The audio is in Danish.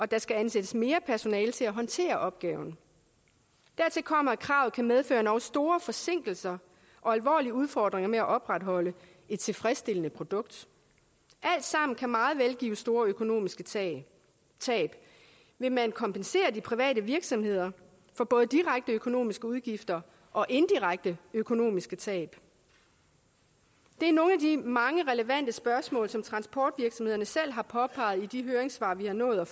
der skal ansættes mere personale til at håndtere opgaven dertil kommer at kravet kan medføre endog store forsinkelser og alvorlige udfordringer med at opretholde et tilfredsstillende produkt alt sammen kan meget vel give store økonomiske tab tab vil man kompensere de private virksomheder for både direkte økonomiske udgifter og indirekte økonomiske tab det er nogle af de mange relevante spørgsmål som transportvirksomhederne selv har påpeget i de høringssvar vi har nået at